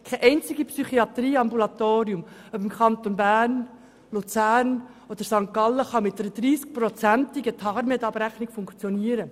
Kein einziges Psychiatrieambulatorium, ob im Kanton Bern, im Kanton Luzern oder im Kanton St. Gallen kann mit einer 30-prozentigen TARMEDAbrechnung funktionieren.